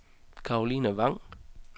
Karoline Vang